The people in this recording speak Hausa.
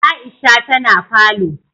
Aisha ta na falo